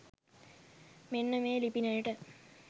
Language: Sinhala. මෙන්න මේ ලිපිනයට.